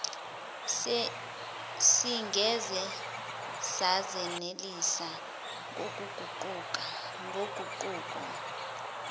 singeze sazenelisa ngoguquko